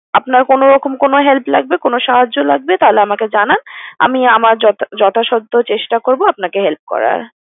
আপনার কোনোরকম কোনো help লাগবে, কোনো সাহায্য লাগবে? তাহলে আমাকে জানান, আমি আমার যথা~ যথাসাধ্য চেষ্টা করবো আপনাকে help করার।